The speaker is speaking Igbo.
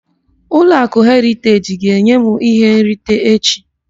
Ụlọakụ Heriteji ga-enye m ihe nrita echi.